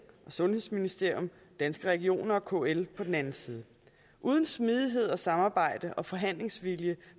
sundhedsministeriet danske regioner og kl på den anden side og uden smidighed og samarbejde og forhandlingsvilje